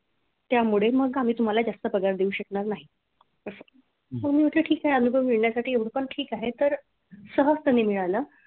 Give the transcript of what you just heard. त्यामुळे मग आम्ही तुम्हाला जास्त पगार देऊ शकणार नाही असं मग मी म्हटलं ठीक आहे अनुभव मिळण्यासाठी पण एवढं ठीक आहे तर सहजपणे मिळालं.